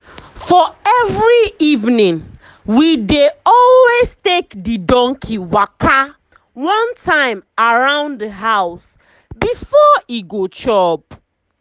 for every eveningwe dey always take the donkey waka one time round the house before e go chop.